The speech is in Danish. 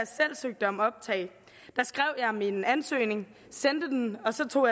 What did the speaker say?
jeg om optag skrev jeg min ansøgning sendte den og så tog